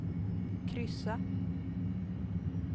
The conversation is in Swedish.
kryssa